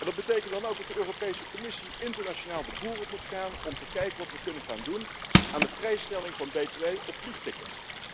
Dat betekent dan ook dat de Europese Commissie internationaal de boer op moet gaan om te kijken wat we kunnen gaan doen aan de vrijstelling van btw op vliegtickets.